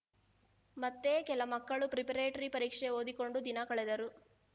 ಮತ್ತೆ ಕೆಲ ಮಕ್ಕಳು ಪ್ರಿಪ್ರೇಟರಿ ಪರೀಕ್ಷೆಗೆ ಓದಿಕೊಂಡು ದಿನ ಕಳೆದರು